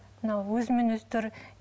мынау өзімен өзі тұр